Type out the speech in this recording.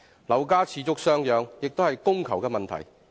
樓價持續上揚，亦可歸因於供求問題。